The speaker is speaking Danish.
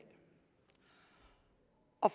og